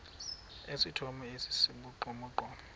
esithomo esi sibugqomogqomo